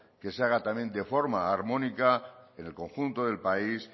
que se haga también de forma armónica en el conjunto del país